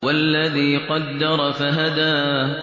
وَالَّذِي قَدَّرَ فَهَدَىٰ